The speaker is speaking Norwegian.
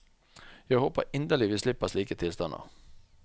Jeg håper inderlig vi slipper slike tilstander.